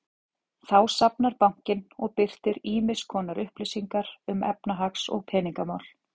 Þá safnar bankinn og birtir ýmiss konar upplýsingar um efnahags- og peningamál.